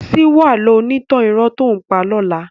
Síwọ́ àlọ́ onítàn irọ́ tó ǹ pa lọ́la.